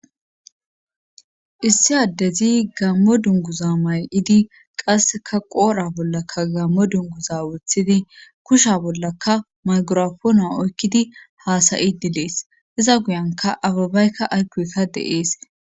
issi addezi gammo dunguza may7idi qasseka qoora bollaka gammo dunguza wothidi kusha bollaka maygorafoona oykkidi haasayi dilees iza guyanka ababaykka aykoesa deees